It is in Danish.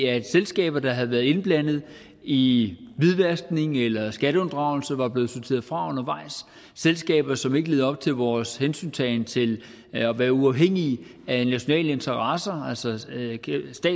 at selskaber der havde været indblandet i hvidvaskning eller skatteunddragelse var blevet sorteret fra undervejs at selskaber som ikke levede op til vores hensyntagen til at være uafhængige af nationale interesser altså